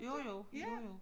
Jo jo jo jo